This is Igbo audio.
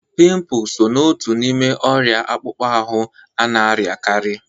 Pịmpul sọ na ọtu n'ime oria akpukpọ ahụ ana-ariakari.